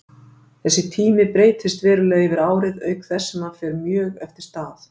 Þessi tími breytist verulega yfir árið auk þess sem hann fer mjög eftir stað.